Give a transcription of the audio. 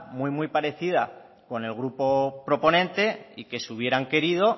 muy muy parecida con el grupo proponente y que si hubieran querido